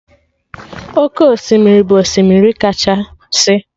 Oke osimiri bụ osimiri kachasị